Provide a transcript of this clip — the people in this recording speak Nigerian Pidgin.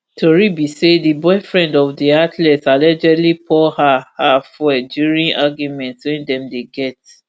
tori be say di boyfriend of di athlete allegedly pour her her fuel during argument wey dem dey get